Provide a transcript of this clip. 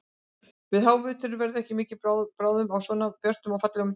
Yfir háveturinn verður ekki mikil bráðnun á svona björtum og fallegum degi.